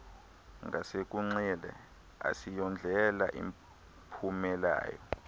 ngasekunxele asiyondlela iphumelayo